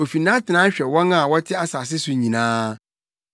Ofi nʼatenae hwɛ wɔn a wɔte asase so nyinaa.